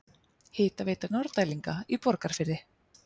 Hitaveitu Norðdælinga í Borgarfirði.